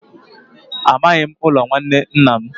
Amaghị m ụlọ nwanne nna m.